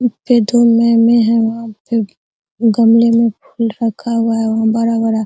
ऊपर में है यहाँ पे गमले में फूल रखा हुआ है बड़ा-बड़ा |